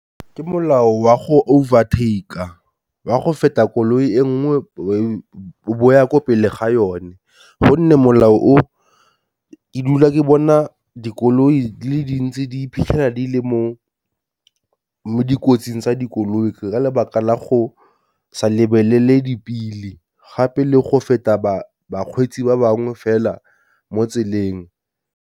Ke molao wa go over taker, wa go feta koloi e nngwe e bo ya ko pele ga yone, gonne molao o ke dula ke bona dikoloi tse dintsi di iphitlhela di le mo dikotsing, tsa dikoloi ka lebaka la go sa lebelele dipili gape le go feta ba bakgweetsi ba bangwe fela mo tseleng.